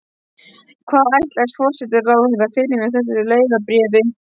Hvað ætlaðist forsætisráðherra fyrir með þessu leiðarbréfi?